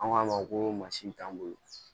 An k'a ma ko mansin t'an bolo